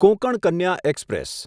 Konkan Kanya express